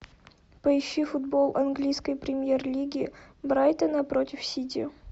поищи футбол английской премьер лиги брайтона против сити